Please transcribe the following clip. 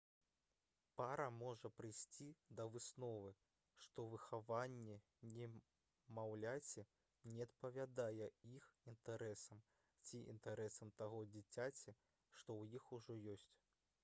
пара можа прыйсці да высновы што выхаванне немаўляці не адпавядае іх інтарэсам ці інтарэсам таго дзіцяці што ў іх ужо ёсць